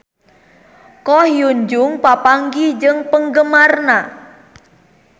Ko Hyun Jung papanggih jeung penggemarna